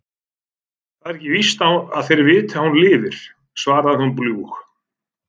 Það er ekki víst að þeir viti að hún lifir, svarar hún bljúg.